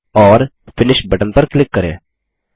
और finish button पर click करें